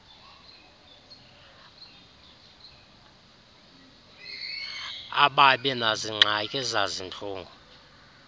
ababi nazingxaki zazintlungu